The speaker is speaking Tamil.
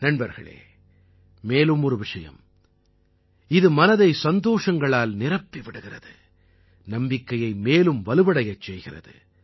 நண்பர்களே மேலும் ஒரு விஷயம் இது மனதை சந்தோஷங்களால் நிரப்பிவிடுகிறது நம்பிக்கையை மேலும் வலுவடையச் செய்கிறது